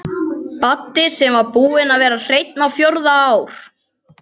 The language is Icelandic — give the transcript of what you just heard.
Baddi sem búinn var að vera hreinn á fjórða ár.